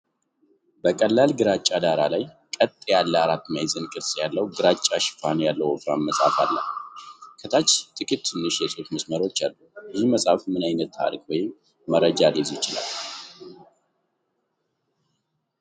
በቀላል ግራጫ ዳራ ላይ፣ ቀጥ ያለ አራት ማዕዘን ቅርጽ ያለው ግራጫ ሽፋን ያለው ወፍራም መጽሐፍ አለ። ከታች ጥቂት ትንሽ የጽሑፍ መስመሮች አሉ። ይህ መጽሐፍ ምን ዓይነት ታሪክ ወይም መረጃ ሊይዝ ይችላል?